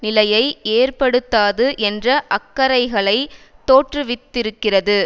நிலையை ஏற்படுத்தாது என்ற அக்கறைகளை தோற்றுவித்திருக்கிறது